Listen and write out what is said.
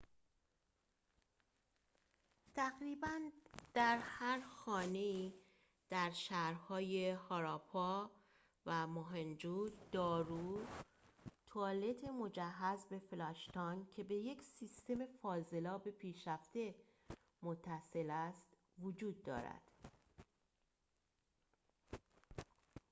تقریباً در هر خانه ای در شهرهای هاراپا و موهنجو-دارو توالت مجهز به فلاش تانک که به یک سیستم فاضلاب پیشرفته متصل است وجود دارد